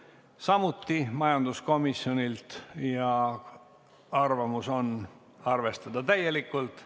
Kuueski muudatusettepanek on majanduskomisjonilt koos juhtivkomisjoni arvamusega arvestada seda täielikult.